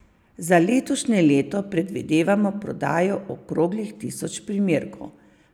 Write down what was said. Za letošnje leto predvidevamo prodajo okroglih tisoč primerkov.